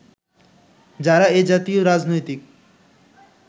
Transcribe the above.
যারা এ জাতীয় রাজনৈতিক